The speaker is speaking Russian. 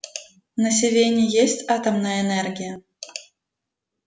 на сивенне есть атомная энергия